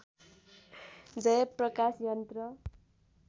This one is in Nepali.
जय प्रकाश यन्त्र